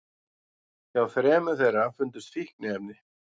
Hjá þremur þeirra fundust fíkniefni